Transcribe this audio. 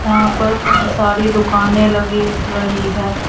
यहां पर कई सारी दुकानें लगी रही है।